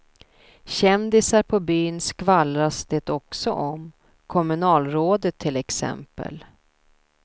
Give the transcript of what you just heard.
Kändisar på byn skvallras det också om, kommunalrådet till exempel.